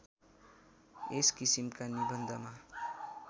यस किसिमका निबन्धमा